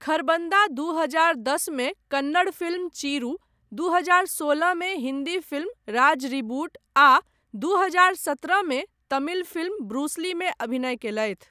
खरबन्दा दू हजार दश मे कन्नड़ फिल्म चिरू, दू हजार सोलह मे हिन्दी फिल्म राज रिबूट, आ दू हजार सत्रह मे तमिल फिल्म ब्रूस ली मे अभिनय कयलथि।